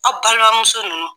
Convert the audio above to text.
Aw balimamuso ninnu